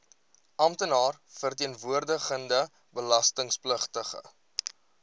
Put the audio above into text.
amptenaar verteenwoordigende belastingpligtige